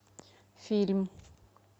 фильм